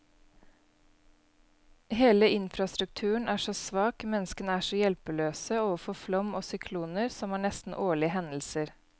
Hele infrastrukturen er så svak, menneskene er så hjelpeløse overfor flom og sykloner, som er nesten årlige hendelser.